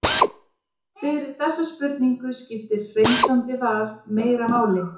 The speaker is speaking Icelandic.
fyrir þessa spurningu skiptir hreinsandi val meira máli